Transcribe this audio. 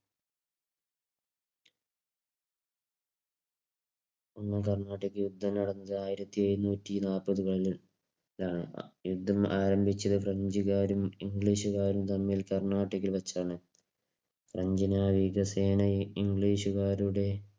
അന്ന് കർണാട്ടിക്ക് യുദ്ധം നടന്നത് ആയിരത്തിഎഴുന്നോതിനാലാപതുകളിൽകളിൽ യുദ്ധം ആരംഭിച്ചത് ഫ്രഞ്ചുകാരും ഇംഗ്ലീഷുകാരും കർണാട്ടികിൽ വച്ചാണ്. ഫ്രഞ്ച് നായിക സേനയിൽ ഇംഗ്ലീഷുകാരുടെ